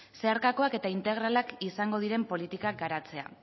zeharkakoak eta integralak izango diren politikak garatzea